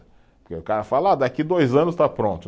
Porque o cara fala, ah daqui dois anos está pronto.